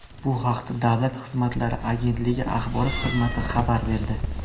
Bu haqda Davlat xizmatlari agentligi axborot xizmati xabar berdi.